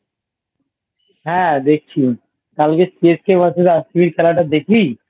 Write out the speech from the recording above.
হ্যাঁ দেখছি কালকের CSK Vs RCB -র খেলাটা দেখলি ?